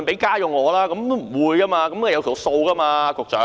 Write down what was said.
局長，總會有個數目吧。